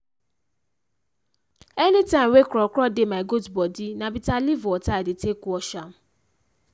anytime wey kro kro dey my goat bodi na bita leaf water i dey take wash am.